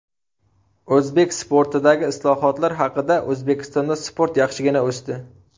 O‘zbek sportidagi islohotlar haqida O‘zbekistonda sport yaxshigina o‘sdi.